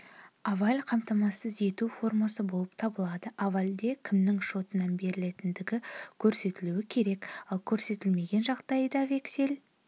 аваль қамтамасыз ету формасы болып табылады авальде кімнің шотынан берілгендігі көрсетілуі керек ал көрсетілмеген жағдайда вексель